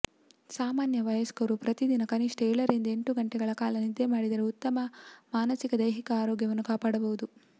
ಸಾಮಾನ್ಯ ವಯಸ್ಕರು ಪ್ರತಿದಿನ ಕನಿಷ್ಠ ಏಳರಿಂದ ಎಂಟು ಗಂಟೆಗಳ ಕಾಲ ನಿದ್ರೆ ಮಾಡಿದರೆ ಉತ್ತಮ ಮಾನಸಿಕ ದೈಹಿಕ ಆರೋಗ್ಯವನ್ನು ಕಾಪಾಡಬಹುದು